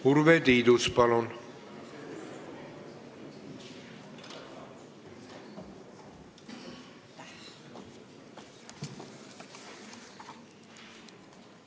Urve Tiidus, palun!